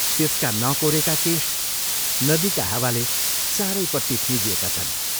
त्यसका नकोरेका केश नदीका हावाले चारैपट्टि फिंजिएका छन्।